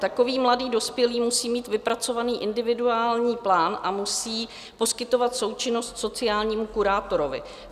Takový mladý dospělý musí mít vypracovaný individuální plán a musí poskytovat součinnost sociálnímu kurátorovi.